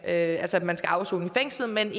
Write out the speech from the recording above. at at man skal afsone i fængslet men